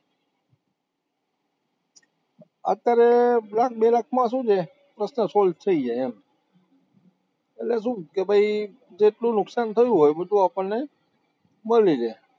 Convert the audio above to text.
અત્યારે લાખ, બે લાખમાં શું છે, પ્રશ્ન solve થઇ જાય એમ એટલે શું કે ભાઈ જેટલું નુકશાન થયું હોય એ બધું આપણને મળી રે